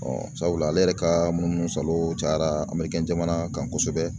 sabula ale yɛrɛ ka munumunusalo cayara jamana kan kosɛbɛ.